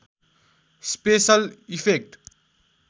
special effect